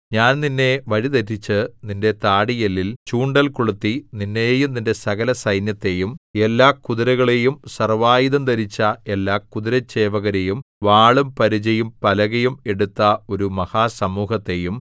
ഞാൻ നിന്നെ വഴിതെറ്റിച്ച് നിന്റെ താടിയെല്ലിൽ ചൂണ്ടൽ കൊളുത്തി നിന്നെയും നിന്റെ സകലസൈന്യത്തെയും എല്ലാ കുതിരകളെയും സർവ്വായുധം ധരിച്ച എല്ലാ കുതിരച്ചേവകരെയും വാളും പരിചയും പലകയും എടുത്ത ഒരു മഹാസമൂഹത്തെയും